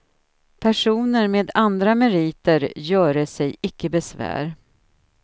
Personer med andra meriter göre sig icke besvär.